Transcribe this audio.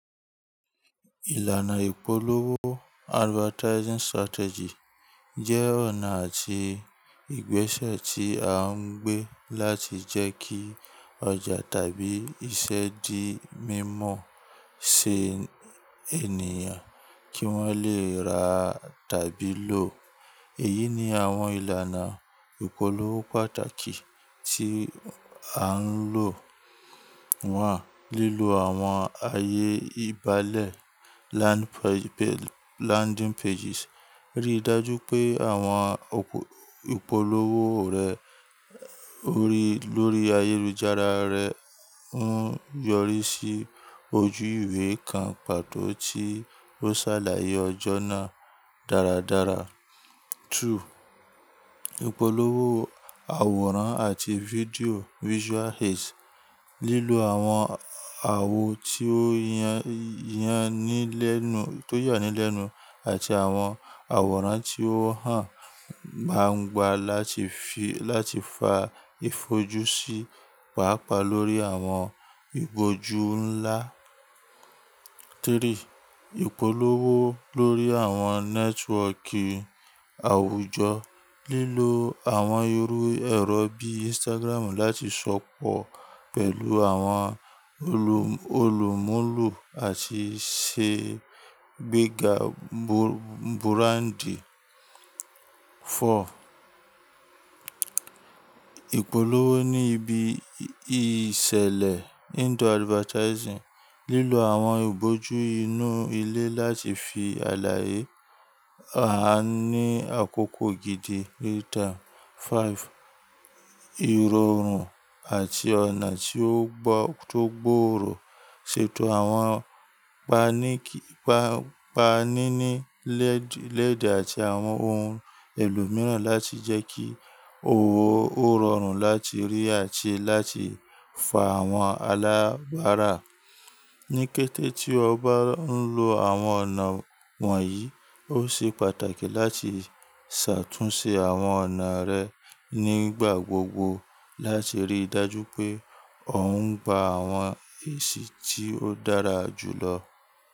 Ìlànà ìpolówó advertising strategy jẹ́ ọ̀nà àti ìgbésẹ̀ tí a ń gbé láti jẹ́ kí ọjà tàbí iṣẹ́ di mímọ̀ tí ènìyàn kí wọ́n lè rà tàbí lò. Èyí ni àwọn ìlànà ìpolówó pàtàkì tí à ń lò wọ́n. Àwọn ayé ìbálẹ̀ landing pages. Rí i dájú pé àwọn ìpolówó rẹ lórí ayélujára rẹ ń yọrí sí ojú ìwé kan pàtó tí ó ṣàlàyé ọjọ́ náà dáradára. Ìpolówó àwòrán àti fídíò visual aids. Àwọn àwo tí ó yàn nílẹ̀nú àti àwọn àwòrán tí ó hàn, máa ń gba láti fa ìfojúsí pàápàá lórí àwọn ìgbójú ńlá. Ìpolówó lórí àwọn nẹ́tíwọ́kì àwùjọ. Lílo àwọn irú ẹrọ bí Instagram láti sọ̀pọ̀ pẹ̀lú àwọn olùmúlò àti ṣe gbégà búráńdì. Ìpolówó ní ibi ìṣẹ̀lẹ̀ indoor advertising. Àwọn ìbójú inú ilé láti fi àlàye. A ní àkókò gidi rii ta 5 Ìrọ̀rùn àti ọ̀nà tí ó gbo to gbòòrò. Àwọn paninilẹ́ẹ̀dẹ́ àti àwọn ohun èlò mìíràn láti jẹ́ kí òwò ó rọrùn láti rí àti láti fa àwọn aláwàrà. Ní kété tí o bá ń lo àwọn ọ̀nà wọ̀nyí, ó ṣe pàtàkì láti ṣàtúnṣe àwọn ọ̀nà rẹ nígbà gbogbo láti rí i dájú pé o ń gba àwọn èsì tí ó dára jù lọ.